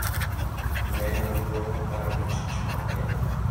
ne nonro mar Jotich mag Kenya,